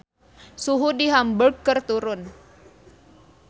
Suhu di Hamburg keur turun